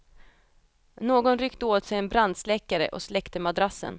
Någon ryckte åt sig en brandsläckare och släckte madrassen.